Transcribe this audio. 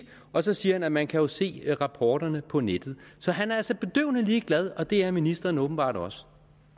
og så siger han at man jo kan se rapporterne på nettet han er altså bedøvende ligeglad og det er ministeren åbenbart også